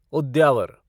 उद्यावर